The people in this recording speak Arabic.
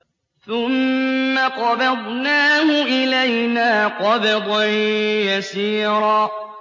ثُمَّ قَبَضْنَاهُ إِلَيْنَا قَبْضًا يَسِيرًا